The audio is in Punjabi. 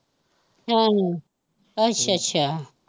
ਹੈ ਨੀ, ਅੱਛਾ ਅੱਛਾ